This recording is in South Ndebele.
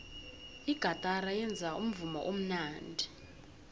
igatara yenza umvumo omnandi